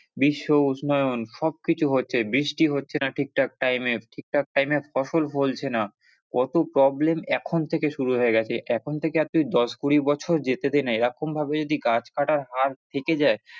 বিশ্ব উষ্ণায়ন সবকিছু হচ্ছে বৃষ্টি হচ্ছে না ঠিকঠাক time এ ঠিকঠাক time এ ফসল ফলছে না, কত problem এখন থেকে শুরু হয়ে গেছে, এখন থেকে আর দশ- কুড়ি বছর যেতে দে না এরকম ভাবে যদি গাছ কাটার হার থেকে যায়।